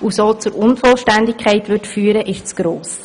was zur Unvollständigkeit führen würde, ist zu gross.